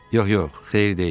Yox, yox, xeyir deyil.